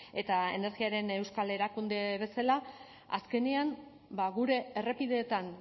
eta energiaren euskal erakunde bezala azkenean gure errepideetan